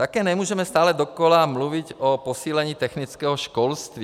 Také nemůžeme stále dokola mluvit o posílení technického školství.